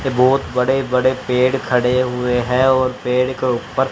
ये बहोत बड़े बड़े पेड़ खड़े हुए हैं और पेड़ के ऊपर--